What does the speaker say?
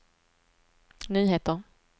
nyheter